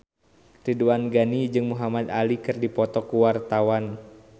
Ridwan Ghani jeung Muhamad Ali keur dipoto ku wartawan